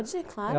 Pode, claro.